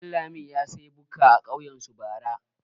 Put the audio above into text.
Ɗanlami ya sayi bukka a kauyen su bara.